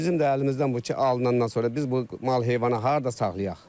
Bizim də əlimizdən bu ki, alınandan sonra biz bu mal-heyvanı harda saxlayaq?